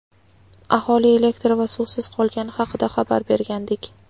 aholi elektr va suvsiz qolgani haqida xabar bergandik.